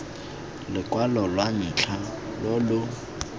lokwalo lwa ntlha lo lo